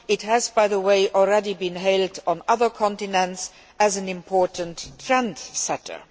It has, by the way, already been hailed on other continents as an important trendsetter.